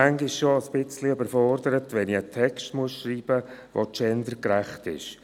Ich bin schon ein wenig überfordert, wenn ich einen Text schreiben soll, der gendergerecht ist.